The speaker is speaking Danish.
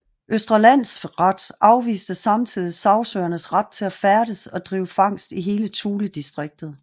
Østre Landsret afviste samtidig sagsøgernes ret til at færdes og drive fangst i hele Thuledistriktet